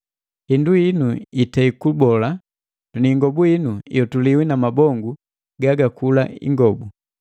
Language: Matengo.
Hindu hinu itei kubola ni ingobu inu iotuliwi na mabongu gagakula ingobu.